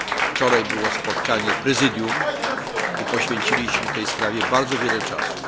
Wczoraj było spotkanie Prezydium i poświęciliśmy tej sprawie bardzo wiele czasu.